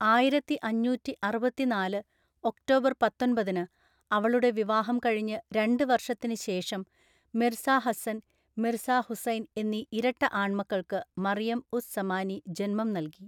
ആയിരത്തിഅഞ്ഞൂറ്റിഅറുപത്തിനാല് October പത്തൊന്‍പതിനു, അവളുടെ വിവാഹം കഴിഞ്ഞ് രണ്ട് വർഷത്തിന് ശേഷം, മിർസ ഹസ്സൻ, മിർസ ഹുസൈൻ എന്നീ ഇരട്ട ആൺമക്കൾക്ക് മറിയം ഉസ് സമാനി ജന്മം നൽകി.